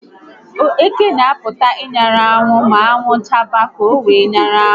Eké n'apụta n'anwụ ma anwụ chaba ka owee nyara anwụ